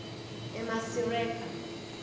emasireka